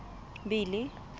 billy